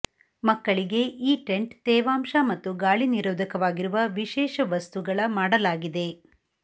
ಮಕ್ಕಳಿಗೆ ಈ ಟೆಂಟ್ ತೇವಾಂಶ ಮತ್ತು ಗಾಳಿ ನಿರೋಧಕವಾಗಿರುವ ವಿಶೇಷ ವಸ್ತುಗಳ ಮಾಡಲಾಗಿದೆ